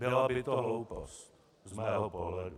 Byla by to hloupost z mého pohledu.